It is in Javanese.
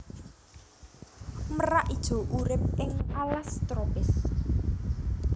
Merak ijo urip ing alas tropis